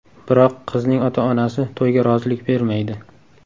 Biroq qizning ota-onasi to‘yga rozilik bermaydi.